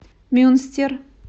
мюнстер